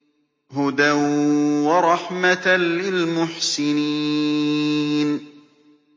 هُدًى وَرَحْمَةً لِّلْمُحْسِنِينَ